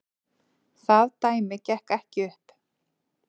Það dæmi gekk ekki upp.